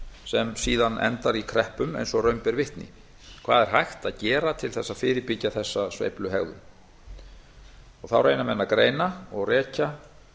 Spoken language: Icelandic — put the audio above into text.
sem síðan endar í kreppum eins og raun ber vitni hvað er hægt að gera til þess að fyrirbyggja þessa sveifluhegðun þá reyna menn að greina og rekja